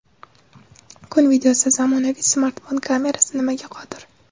Kun videosi: Zamonaviy smartfon kamerasi nimaga qodir?.